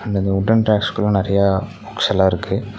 இந்தந்த வுட்டன் ரேக்ஸ்க்குள்ள நெறைய புக்ஸ்ஸெல்லா இருக்கு.